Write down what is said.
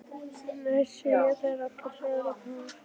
Nei, segja þær allar þrjár í kór.